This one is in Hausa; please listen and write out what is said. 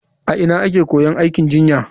A ina ake koyon aikin jinya?